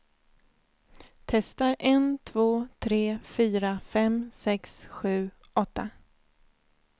Testar en två tre fyra fem sex sju åtta.